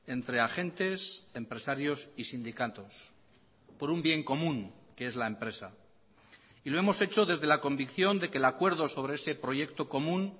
entre agentes empresarios y sindicatos por un bien común que es la empresa y lo hemos hecho desde la convicción de que el acuerdo sobre ese proyecto común